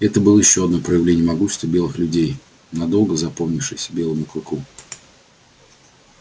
это было ещё одно проявление могущества белых людей надолго запомнившееся белому клыку